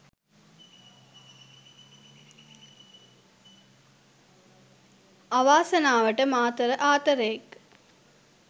අවාසනාවට මාතර ආතරයෙක්